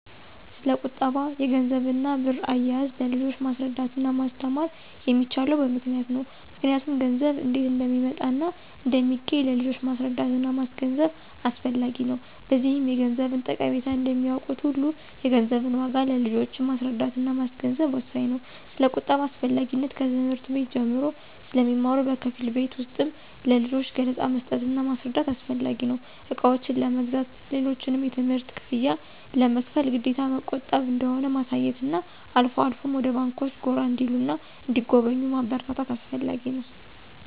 ስለቁጠባ፣ የገንዘብና ብር አያያዝ ለልጆች ማስረዳትና ማስተማር የሚቻለው በምክንያት ነው ምክንያቱም ገንዘብ እንዴት እንደሚመጣና እንደሚገኝ ለልጆች ማስረዳትና ማስገንዘብ አስፈላጊ ነው። በዚህም የገንዘብን ጠቀሜታ እንደሚያውቁት ሁሉ የገንዘብን ዋጋ ለልጆች ማስረዳትና ማስገንዘብ ወሳኝ ነው። ስለቁጠባ አስፈላጊነት ከትምህርት ቤት ጀምሮ ስለሚማሩ በከፊል ቤት ውስጥም ለልጆች ገለፃ መስጠትና ማስረዳት አስፈላጊ ነው። እቃዎችን ለመግዛት፣ ሌሎችንም የትምህርት ክፍያ ለመክፈል ግዴታ መቆጠብ እንደሆነ ማሳየትና አልፎ አልፎም ወደ ባንኮች ጎራ እንዲሉና እንዲጎበኙ ማበረታታት አስፈላጊ ነው።